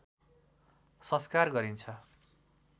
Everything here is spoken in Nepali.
संस्कार गरिन्छ